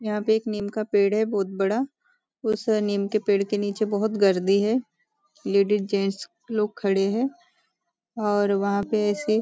यहाँ पे एक नीम का पेड़ है बहुत बड़ा उस नीम के पेड़ के नीचे बहुत गर्दी है लेडी जेंट्स लोग खड़े हैं और वहाँ पे ऐसे --